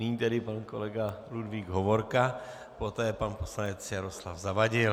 Nyní tedy pan kolega Ludvík Hovorka, poté pan poslanec Jaroslav Zavadil.